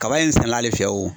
Kaba in sɛnɛ n'ale fɛ wo